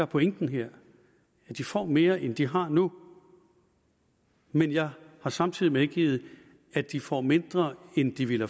pointen her at de får mere end de har nu men jeg har samtidig medgivet at de får mindre end de ville